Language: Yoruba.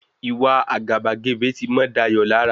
Ìwa àgàbàgebè ti mọ́ Dayọ̀ lára.